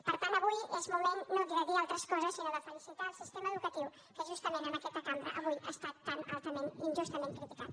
per tant avui és moment no de dir altres coses sinó de felicitar el sistema educatiu que justament en aquesta cambra avui ha estat tan altament i injustament criticat